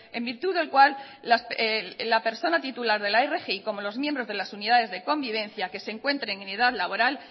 en virtud del cual la persona titular de la rgi como los miembros de las unidades de convivencia que se encuentren en edad laboral